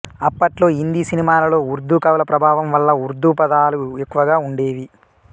అప్పట్లో హిందీ సినిమాలలో ఉర్దూ కవుల ప్రభావం వల్ల ఉర్దూ పదాలు ఎక్కువగా ఉండేవి